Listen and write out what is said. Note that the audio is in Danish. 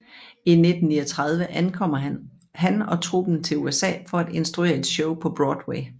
I 1939 ankomr han og truppen til USA for at instruere et show på Broadway